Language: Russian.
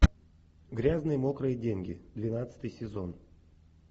грязные мокрые деньги двенадцатый сезон